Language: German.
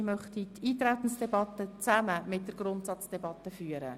Ich möchte die Eintretensdebatte zusammen mit der Grundsatzdebatte führen.